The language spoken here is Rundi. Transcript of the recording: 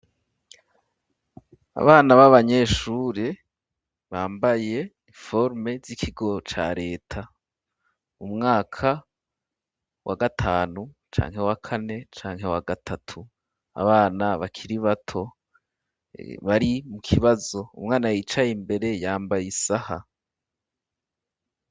Abana b'abanyeshure bambaye imforme z'ikigo ca leta umwaka wa gatanu canke wa kane canke wa gatatu abana bakiri bato bari mu kibazo umwana yicaye imbere yambaye isaha.